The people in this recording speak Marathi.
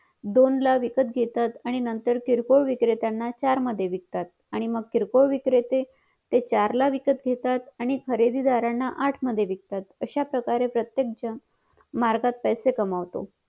दोन ला विकत घेतात आणि नंतर किरकोळ विक्रेत्यांना चार मध्ये विकतात आणि मग किरकोळ विक्रेता चार ला विकत घेतात आणि खरेदीदाराणा आठ मध्ये विकतात अशा प्रकारे प्रत्येक जण मार्गात पैसे कमावतो